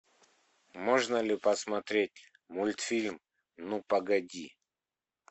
можно ли посмотреть мультфильм ну погоди